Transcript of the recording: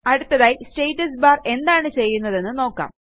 അടുത്തതായി status bar എന്താണ് ചെയ്യുന്നതെന്ന് നോക്കാം